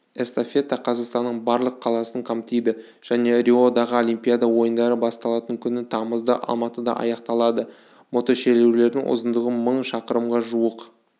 эстафета қазақстанның барлық қаласын қамтиды және риодағы олимпиада ойындары басталатын күні тамызда алматыда аяқталады мотошерудің ұзындығы мың шақырымға жуық